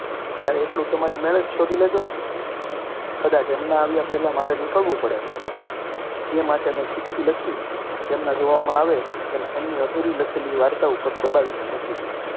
ત્યારે એટલું તમારી મેળે જ શોધી લેજો ને કદાચ એમના આવ્યા પહેલાં મારે નીકળવું પડે. માટે મેં ચિઠ્ઠી લખીને, તેમના જોવામાં આવે એમ, એમની અધૂરી લખેલી વારતા ઉપર, દબાવીને મૂકી હતી